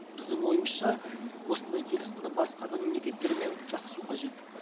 біздің ойымызша осындай келісімді басқа да мемлекеттермен жасасу қажет